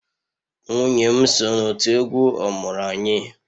Nwunye m so n'òtù egwu ọmụrụ-anyị